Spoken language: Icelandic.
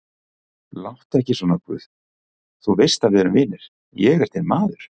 Láttu ekki svona guð, þú veist að við erum vinir, ég er þinn maður.